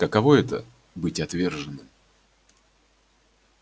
каково это быть отверженным